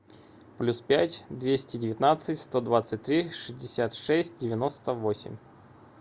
плюс пять двести девятнадцать сто двадцать три шестьдесят шесть девяносто восемь